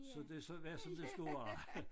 Så det har så været som det skulle være